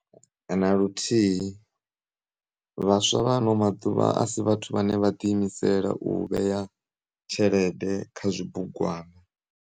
Na luthihi, vhaswa vha anomaḓuvha asi vhathu vhane vha ḓiimisela uvheya tshelede kha zwibugwana.